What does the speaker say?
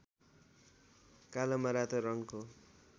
कालोमा रातो रङको